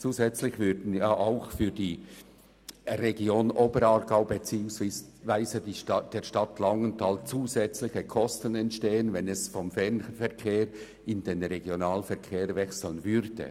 Zudem würden der Region Oberaargau beziehungsweise der Stadt Langenthal zusätzliche Kosten entstehen, wenn das Angebot vom Fernverkehr in den Regionalverkehr verlegt würde.